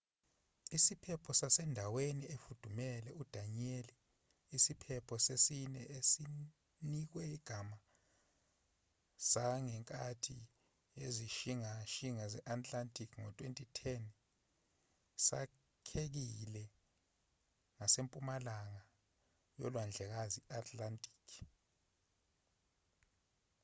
isiphepho sasendaweni efudumele udanielle isiphepho sesine esinikwe igama sangenkathi yezishingishane zase-atlantic ngo-2010 sakhekile ngasempumalanga yolwandlekazi i-atlantic